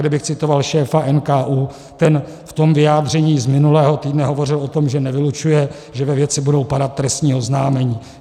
Kdybych citoval šéfa NKÚ, ten v tom vyjádření z minulého týdne hovořil o tom, že nevylučuje, že ve věci budou padat trestní oznámení.